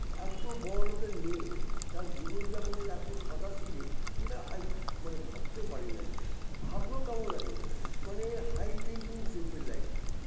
এতো বড়ো লোকের মেয়ে তার জীবন যাপনের এতো সাধাসিধে যেটা আই মানে ভাবতে পারিনা ভাবলেও কেমন লাগে মানে high thinking simple life